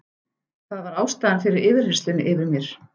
Það var ástæðan fyrir yfirheyrslunni yfir mér.